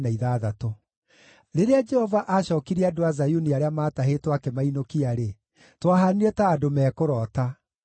Rĩrĩa Jehova aacookirie andũ a Zayuni arĩa maatahĩtwo akĩmainũkia-rĩ, twahaanire ta andũ mekũroota.